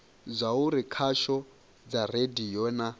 zwauri khasho dza radio na